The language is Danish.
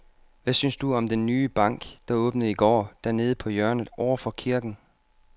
Hvad synes du om den nye bank, der åbnede i går dernede på hjørnet over for kirken?